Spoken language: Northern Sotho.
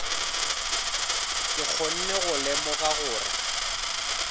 ke kgone go lemoga gore